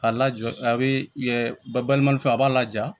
A lajɔ a bɛ yɛ baliman fɛ a b'a laja